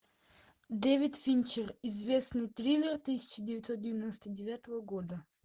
дэвид финчер известный триллер тысяча девятьсот девяносто девятого года